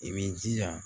I b'i jija